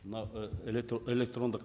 мына электрондық